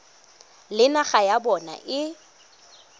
le naga ya bona e